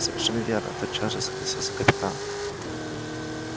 совершенно верно тотчас же согласился капитан